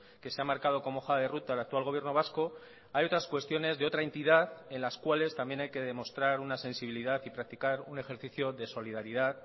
que se ha marcado como hoja de ruta el actual gobierno vasco hay otras cuestiones de otra entidad en las cuales también hay que demostrar una sensibilidad y practicar un ejercicio de solidaridad